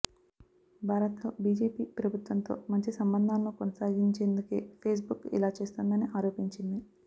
భారత్లో బీజేపీ ప్రభుత్వంతో మంచి సంబంధాలను కొనసాగించేందుకే ఫేస్బుక్ ఇలా చేస్తోందని ఆరోపించింది